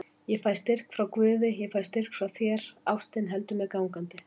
Ég fæ styrk frá guði, ég fæ styrk frá þér, ástin heldur mér gangandi.